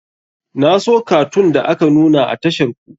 Na so katun da aka nuna a tashar ku.